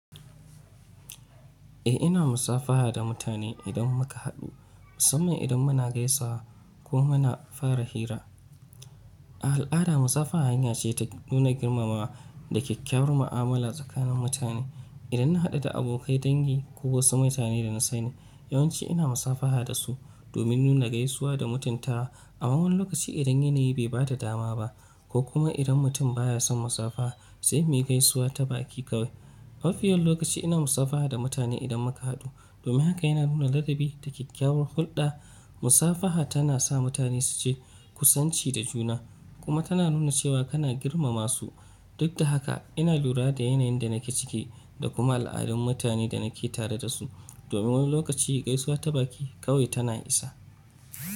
Eh ina musafaha da mutane idan muka haɗu, musamman idan muna gaisawa ko muna fara hira. A al'ada, musafaha hanya ce ta nuna girmamawa da kyakkyawar ma'amala tsakanin mutane. Idan na haɗu da abokai, dangi ko wasu mutane da na sani, yawanci ina musafaha da su domin nuna gaisuwa da mutuntawa. Amma wani lokaci idan yanayi bai ba da dama ba ko kuma idan mutum ba ya son musafaha, sai muyi gaisuwa ta baki kawai. Mafi yawan lokaci ina musafaha da mutane idan muka haɗu domin haka yana nuna ladabi da kyakkyawar hulɗa. Musafaha tana sa mutane su ji kusanci da juna kuma tana nuna cewa kana girmama su. Duk da haka, ina lura da yanayin da nake ciki da kuma al'adun mutane da nake tare da su, domin wani lokaci gaisuwa ta baki kawai tana isa.